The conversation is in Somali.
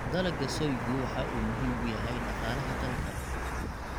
Dalagga soygu waxa uu muhiim u yahay dhaqaalaha dalka.